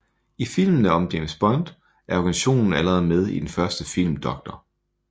I filmene om James Bond er organisationen allerede med i den første film Dr